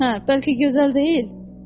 Hə, bəlkə gözəl deyil?